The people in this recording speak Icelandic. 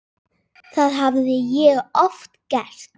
Það hafði ég oft gert.